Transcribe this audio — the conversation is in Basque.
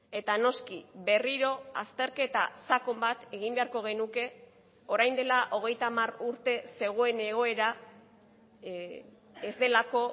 eta noski berriro azterketa sakon bat egin beharko genuke orain dela hogeita hamar urte zegoen egoera ez delako